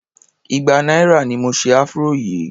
igba náírà ni mo se afro yìí.